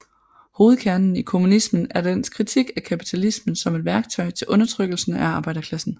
Hovedkernen i kommunismen er dens kritik af kapitalismen som et værktøj til undertrykkelse af arbejderklassen